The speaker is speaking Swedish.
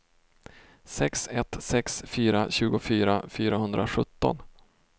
sex ett sex fyra tjugofyra fyrahundrasjutton